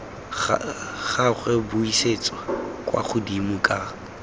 gagwe buisetsa kwa godimo ka